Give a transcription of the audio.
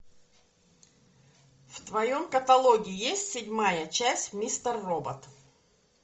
в твоем каталоге есть седьмая часть мистер робот